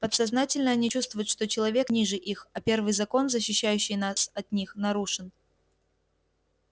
подсознательно они чувствуют что человек ниже их а первый закон защищающий нас от них нарушен